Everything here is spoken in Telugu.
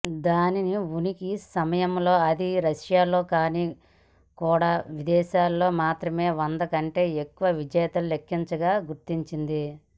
దాని ఉనికి సమయంలో అది రష్యాలో కానీ కూడా విదేశాలలో మాత్రమే వంద కంటే ఎక్కువ విజేతలు లెక్కించగా గుర్తించింది